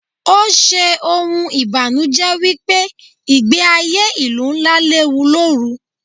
Ó ṣe ohun ìbanuje wípé ìgbẹ́ ayé ìlú ńlá léwu lóru.